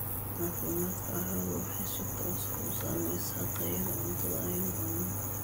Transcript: Caafimaadka carradu waxay si toos ah u saamaysaa tayada cuntada aynu cunno.